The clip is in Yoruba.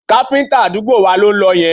Káfíńtà àdúgbò wa ló ń lọ yẹn